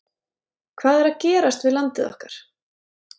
Hvað er að gerast við landið okkar?